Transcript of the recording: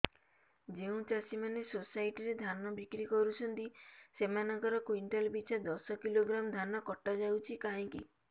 ଯେଉଁ ଚାଷୀ ମାନେ ସୋସାଇଟି ରେ ଧାନ ବିକ୍ରି କରୁଛନ୍ତି ସେମାନଙ୍କର କୁଇଣ୍ଟାଲ ପିଛା ଦଶ କିଲୋଗ୍ରାମ ଧାନ କଟା ଯାଉଛି କାହିଁକି